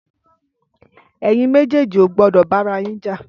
Ẹyin mèjèji ó gbọdọ bàràyín jà